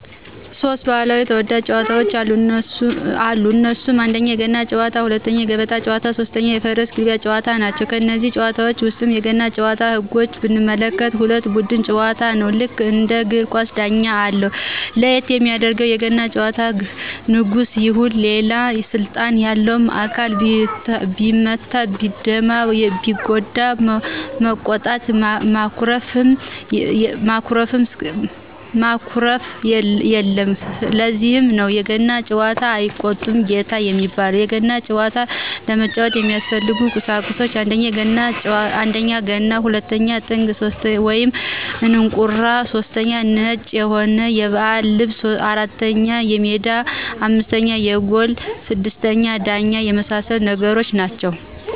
ሦስት ባህላዊ ተወዳጅ ጨዋታወች አሉ እነሱም 1: የገና ጨዋታ 2: የገበታ ጨዋታ 3: የፈረስ ግልቢያ ጨዋታ ናቸው። ከነዚህ ጨዋታወች ውስጥ የገና ጭዋታን ህጎች ብንመለከት የሁለት ቡድን ጨዋታ ነው ልክ እንደ እግር ኳስ ዳኛም አለው ለየት የሚያደርገው የገና ጨዋታ ንጉስም ይሁን ሌላ ስልጣን ያለው አካል ቢመታ ቢደማ ቢጎዳ መቆጣት ማኩረፍየለም ለዚህ ነው በገና ጨዋታ አይቆጣም ጌታ የሚባለው የገና ጨዋታ ለመጫወት የሚያስፈልጉ ቁሳቁሶች 1: ገና 2: ጥንግ /እንቁራ / 3: ነጭ የሆነ የባህል ልብስ 4: ሜዳ 5: ጎል 6: ዳኛ የመሳሰሉት ነገሮች ናቸው